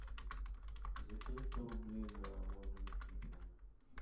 закинь сто рублей на мой номер телефона